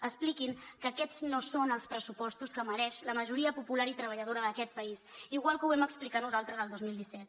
expliquin que aquests no són els pressupostos que mereix la majoria popular i treballadora d’aquest país igual que ho vam explicar nosaltres el dos mil disset